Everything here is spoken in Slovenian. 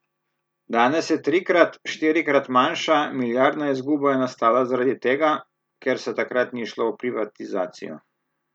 Danes je trikrat, štirikrat manjša, milijardna izguba je nastala zaradi tega, ker se takrat ni šlo v privatizacijo.